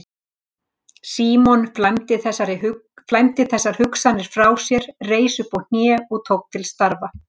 Símon flæmdi þessar hugsanir frá sér, reis upp á hnén og tók til starfa.